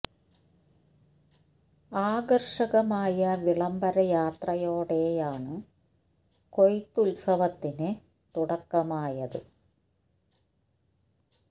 ആകർഷ കമായ വിളംബര യാത്ര യോടെ യാണ് കൊയ്ത്തുത്സവ ത്തിന് തുടക്ക മായത്